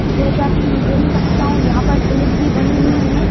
जैसा कि मैं देख सकता हूं यहाँ पर स्लिप भी बनी हुई हैं।